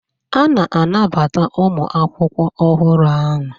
A na-anabata ụmụ akwụkwọ ọhụrụ ahụ.